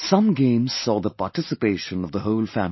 Some games saw the participation of the whole family